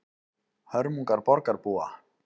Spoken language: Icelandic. Hörmungar borgarbúa